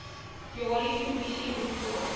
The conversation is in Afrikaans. jali kommissie aanvaar